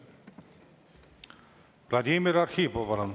Vladimir Arhipov, palun!